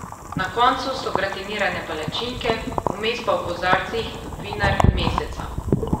Na koncu so gratinirane palačinke, vmes pa v kozarcih vinar meseca.